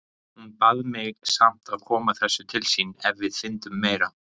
Hún bað mig samt að koma þessu til sín ef við fyndum meira.